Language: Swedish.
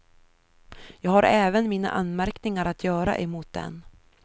Jag har även mina anmärkningar att göra emot den.